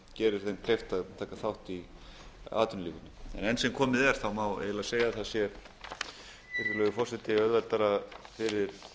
gerir þeim kleift að taka þátt í atvinnulífinu enn sem komið er má segja virðulegi forseti að auðveldara sé fyrir